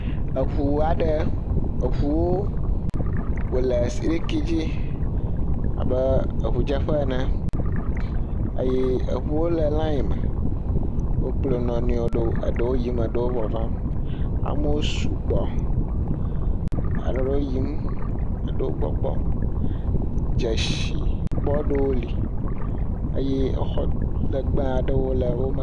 Eŋu aɖe, eŋuwo wole siliki dzi abe eŋudzeƒe ene, eŋuwo le layi me, wokplɔ wo nɔ nɔewo, eɖewo yiyim, eɖewo vavam, amewo sugbɔ, eɖewo yiyim, eɖewo gbɔgbɔm, dzesi … wole eye exɔ legbe aɖe..